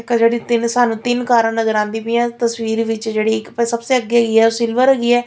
ਆਹ ਜੇਹੜੀ ਤਿੰਨ ਸਾਨੂੰ ਤਿੰਨ ਕਾਰਾਂ ਨਜਰ ਆਂਦੀ ਪਈਆਂ ਤਸਵੀਰ ਵਿੱਚ ਜੇਹੜੀ ਇੱਕ ਭਾਈ ਸਬਸੇ ਅੱਗੇ ਕੀ ਹੈ ਓਹ ਸਿਲਵਰ ਹੈਗੀ ਹੈ।